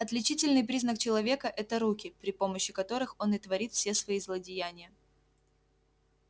отличительный признак человека это руки при помощи которых он и творит все свои злодеяния